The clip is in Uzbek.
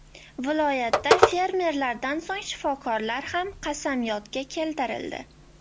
Viloyatda fermerlardan so‘ng shifokorlar ham qasamyodga keltirildi .